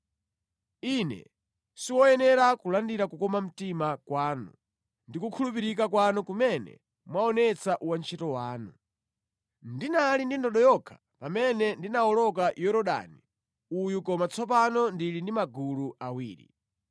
Ine siwoyenera kulandira kukoma mtima kwanu ndi kukhulupirika kwanu kumene mwaonetsa wantchito wanu. Ndinali ndi ndodo yokha pamene ndinawoloka Yorodani uyu koma tsopano ndili ndi magulu awiri.